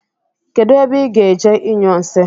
Kedụ ebe ị gaje inyụ nsị?